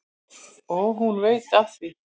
Og hún veit af því.